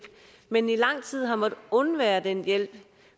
men i lang tid har måttet undvære den hjælp